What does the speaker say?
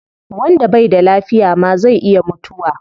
Wanda bai da lafiya ma zai iya mutuwa